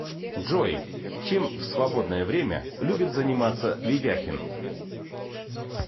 джой чем в свободное время любит заниматься ведяхин